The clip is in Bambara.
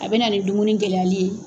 A bɛ na ni dumuni gɛlɛyali ye.